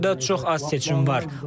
Hazırda çox az seçim var.